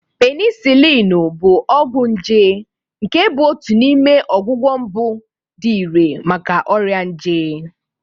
Penisilinu bụ ọgwụ nje nke bụ otu n'ime ọgwụgwọ mbụ dị irè maka ọrịa nje.